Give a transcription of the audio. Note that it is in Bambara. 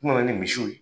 N nana ni misiw ye